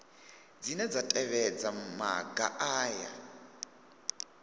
dzine dza tevhedza maga aya